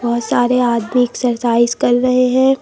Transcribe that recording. बहुत सारे आदमी एक्सरसाइज कर रहे हैं।